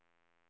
equalizer